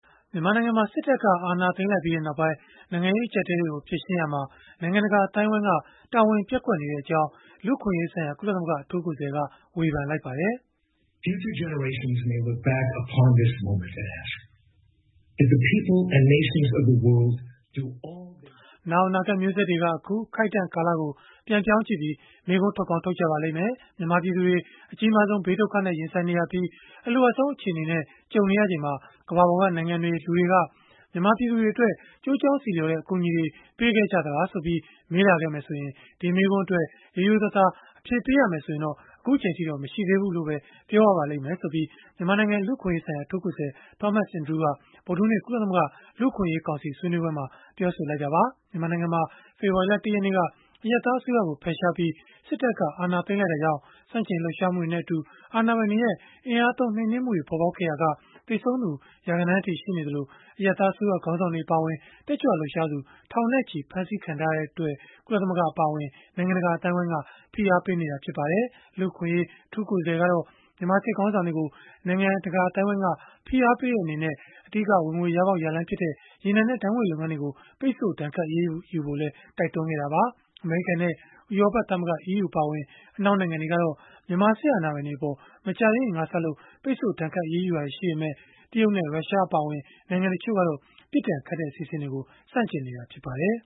မြန်မာနိုင်ငံမှာ စစ်တပ်က အာဏာသိမ်းလိုက်ပြီးနောက်ပိုင်း နိုင်ငံရေး အကျပ်အတည်းတွေကို ဖြေရှင်းရာမှာ နိုင်ငံတကာ အသိုင်းအဝန်းက တာဝန်ပျက်ကွက်နေကြောင်း လူ့အခွင့်အရေးဆိုင်ရာ ကုလသမဂ္ဂ အထူးကိုယ်စားလှယ်က ဝေဖန်လိုက်ပါတယ်။ “နောင်အနာဂတ်မျိုးဆက်တွေက အခုအခိုက်အတံ့ ကာလကို ပြန်ပြောင်းကြည့်ပြီး မေးခွန်းထုတ်ကောင်း ထုတ်ကြပါလိမ့်မယ်။ မြန်မာပြည်သူတွေ အကြီးမားဆုံး ဘေးဒုက္ခနဲ့ ရင်ဆိုင်နေရပြီး အလိုအပ်ဆုံးအခြေအနေနဲ့ ကြုံနေရချိန်မှာ ကမ္ဘာပေါ်က နိုင်ငံတွေ၊ လူတွေက မြန်မာပြည်သူတွေအတွက် ကျိုးကြောင်းဆီလျော်တဲ့ အကူအညီတွေ ပေးခဲ့ကြသလားဆိုပြီး မေးလာခဲ့မယ်ဆိုရင်၊ ဒီမေးခွန်းအတွက် ရိုးရိုးသားသား အဖြေပေးရမယ်ဆိုရင်တော့ အခုအချိန်အထိတော့ မရှိသေးဘူးလို့ပဲ ပြောရပါလိမ့်မယ်။” လို့ မြန်မာနိုင်ငံ လူ့အခွင့်အရေးဆိုင်ရာ အထူးကိုယ်စားလှယ် Thomas Andrews က ဗုဒ္ဓဟူးနေ့ ကုလသမဂ္ဂ လူ့အခွင့်အရေးကောင်စီ ဆွေးနွေးပွဲမှာ ပြောဆိုသွားတာပါ။ မြန်မာနိုင်ငံမှာ ဖေဖော်ဝါရီလ ၁ ရက်နေ့က အရပ်သား အစိုးရကို ဖယ်ရှားပြီး စစ်တပ်က အာဏာသိမ်းလိုက်တာကြောင့် ဆန့်ကျင်လှုပ်ရှားမှုတွေနဲ့ အတူ အာဏာပိုင်တွေရဲ့ အင်အားသုံးနှိမ်နင်းမှုတွေ ပေါ်ပေါက်ခဲ့ရာက သေဆုံးသူ ရာဂဏန်းအထိ ရှိနေသလို၊ အရပ်သားအစိုးရ ခေါင်းဆောင်တွေ အပါအဝင် တက်ကြွလှုပ်ရှားသူ ထောင်နဲ့ချီ ဖမ်းဆီးခံထားရတဲ့အတွက် ကုလသမဂ္ဂ အပါအဝင် နိုင်ငံတကာ အသိုင်းအဝန်းက ဖိအားပေး နေကြတာ ဖြစ်ပါတယ်။ လူ့အခွင့်အရေး အထူးကိုယ်စားလှယ်ကတော့ မြန်မာစစ်ခေါင်းဆောင်တွေကို နိုင်ငံတကာ အသိုင်းအဝန်းက ဖိအားပေးတဲ့အနေနဲ့ အဓိက ဝင်ငွေရလမ်းဖြစ်တဲ့ ရေနံနဲ့ ဓာတ်ငွေ့လုပ်ငန်းတွေကို ပိတ်ဆို့ဒဏ်ခတ် အရေးယူဖို့လည်း တိုက်တွန်းခဲ့တာပါ။ အမေရိကန်နဲ့ ဥရောပသမဂ္ဂ အပါအဝင် အနောက်နိုင်ငံတွေကတော့ မြန်မာစစ်အာဏာပိုင်တွေအပေါ် မကြာသေးခင်ကစလို့ ပိတ်ဆို့ဒဏ်ခတ် အရေးယူခဲ့တာတွေ ရှိခဲ့ပေမဲ့ တရုတ်နဲ့ ရုရှားအပါအဝင် နိုင်ငံတချို့ကတော့ ပြစ်ဒဏ်ခတ်တဲ့ အစီအစဉ်တွေကို ဆန့်ကျင်နေတာ ဖြစ်ပါတယ်